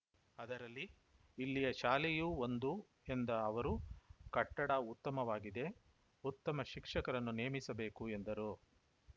ಅದರಲ್ಲಿ ಇಲ್ಲಿಯ ಶಾಲೆಯೂ ಒಂದು ಎಂದ ಅವರು ಕಟ್ಟಡ ಉತ್ತಮವಾಗಿದೆ ಉತ್ತಮ ಶಿಕ್ಷಕರನ್ನು ನೇಮಿಸಬೇಕು ಎಂದರು